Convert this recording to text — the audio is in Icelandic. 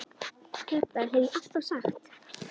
Þetta hef ég alltaf sagt!